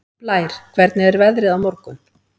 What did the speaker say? Blær, hvernig er veðrið á morgun?